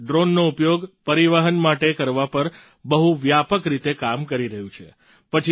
ભારત ડ્રૉનનો ઉપયોગ પરિવહન માટે કરવા પર બહુ વ્યાપક રીતે કામ કરી રહ્યું છે